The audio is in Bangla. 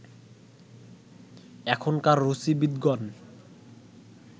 এখনকার রুচিবিদ গণ